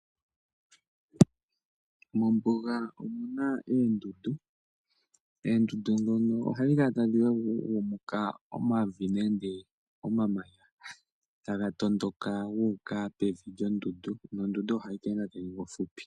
Mombuga omu na oondundu. Oondundu dhoka ohadhi kala tadhi agumuka omavi nenge omamanya taga tondoka guuka pevi lyondundu nondundu ohayi ningi po ofupi.